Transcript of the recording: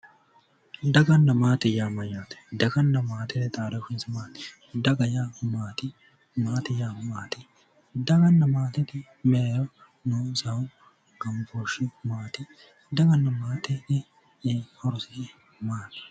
Daganna maate yaa mayyaate? Daganna maatete xaadooshshinsa maati? Daga yaa maati? Maate yaa maati? Daganna maatete mereero noonsahu gambooshshi maati? Daganna maate horose maati?